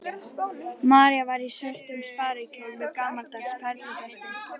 María var í svörtum sparikjól með gamaldags perlufesti.